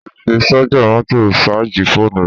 O lè fi sájà mọ́tò sáàjì fóònù rẹ